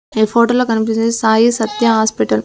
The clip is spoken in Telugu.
ఈ ఫోటోలో కనిపిస్తూ సాయి సత్య హాస్పిటల్ .